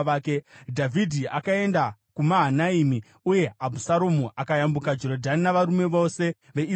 Dhavhidhi akaenda kuMahanaimi, uye Abhusaromu akayambuka Jorodhani navarume vose veIsraeri.